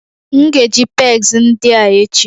M ga-eji pegs ndị a echi